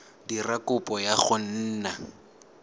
dira kopo ya go nna